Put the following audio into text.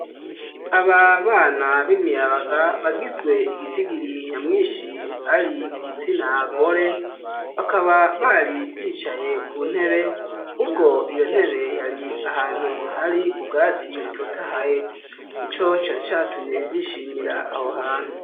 Aba bana b'imiyabaga bagizwe igiti giri nyamwishi ari igitsina gore, bakaba bari bicaye ku ntebe, ubwo iyo ntebe yari ahantu hari ubwati butotahaye nico cari catumye bishimira aho hantu.